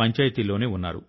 పంచాయతీలోనే ఉన్నారు